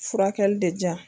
Furakɛli de jan